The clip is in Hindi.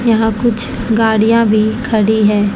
यहां कुछ गाड़ियां भी खड़ी है।